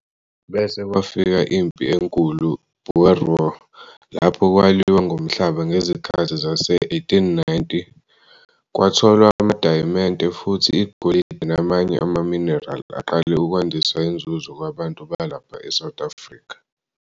Bese kwafika impi enkulu- "Boer War" lapho kwaliwa ngomhlaba ngezikhathi zase1890. Kwatholwa amadayimente futhi igolidi namanye amaminerali aqale ukwandisa inzuzo kubantu balapha eSouth Afrika.